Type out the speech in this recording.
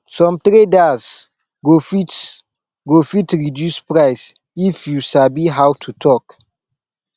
some traders go fit go fit reduce price if you sabi how to talk